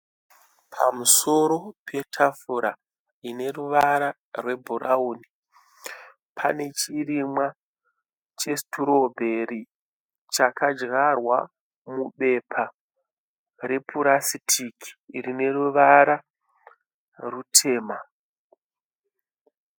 Pamusoro petafura ine ruvara rwebhurauni, pane chirimwa chesitorobheri chakadyarwa mubepa repurasitiki ine ruvara rutema.